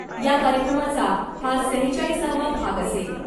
या कार्यक्रमाचा हा सेहेचाळीसावा भाग असेल .